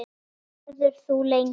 Verður þú lengi?